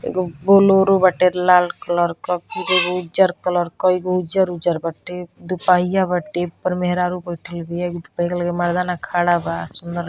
एगो बुलेरो बाटे लाल कलर का एगो उज्जर कलर का उज्जर -उज्जर बाटे दू पहिया बाटे ऊपर मेहरारू बइठल बिया एगो बैग लेके मर्दाना खड़ा बा सुंदर --